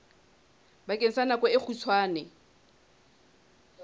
bakeng sa nako e kgutshwane